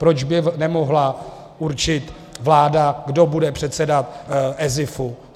Proč by nemohla určit vláda, kdo bude předseda ESIF?